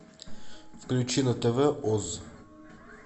включи на тв оз